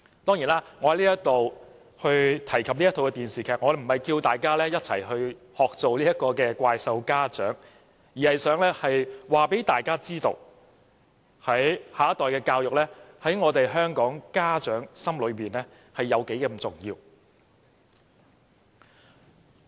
當然，我提及這齣電視劇，並非鼓勵大家學做"怪獸家長"，而是想告訴大家，下一代的教育在香港的家長心中有多重要。